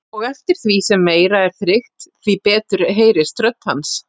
Og eftir því sem meira er þrykkt, því betur heyrist rödd hans.